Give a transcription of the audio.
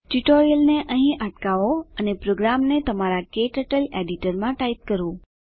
ટ્યુટોરીયલને અહીં અટકાવો અને પ્રોગ્રામને તમારા ક્ટર્ટલ એડીટરમાં ટાઈપ કરો